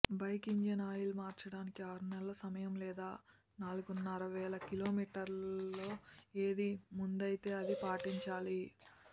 bike engine oil మార్చడానికి ఆరునెలల సమయం లేదా నాలుగున్నరవేల కిలోమీటర్లలో ఏది ముందైతే అది పాటించాలి